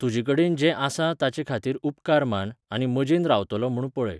तुजेकडेन जें आसा ताचेखातीर उपकार मान, आनी मजेन रावतलों म्हूण पळय.